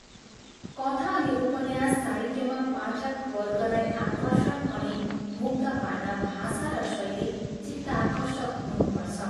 कथा अनि उपन्यास साहित्यमा पाठकवर्गलाई आकर्षण अनि मुग्ध पार्न भाषा र शैली चित्ताकर्षक हुनुपर्छ।